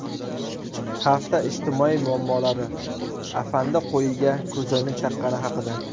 Hafta ijtimoiy muammolari: Afandi qo‘yiga ko‘zoynak taqqani haqida.